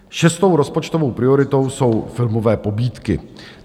Šestou rozpočtovou prioritou jsou filmové pobídky.